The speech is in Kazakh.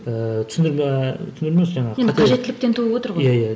ііі түсіндірме түсіндірме емес жаңағы қате енді қажеттіліктен туып отыр ғой иә иә